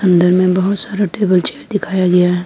अन्दर में बहोत सारा टेबल चेयर दिखाया गया है।